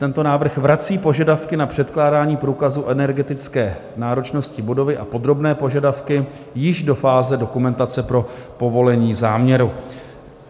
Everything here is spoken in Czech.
Tento návrh vrací požadavky na předkládání průkazu energetické náročnosti budovy a podrobné požadavky již do fáze dokumentace pro povolení záměru.